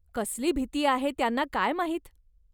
कसली भीती आहे त्यांना काय माहीत.